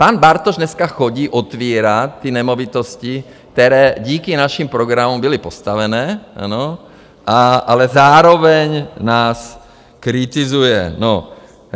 Pan Bartoš dneska chodí otevírat ty nemovitosti, které díky našim programům byly postaveny, ale zároveň nás kritizuje.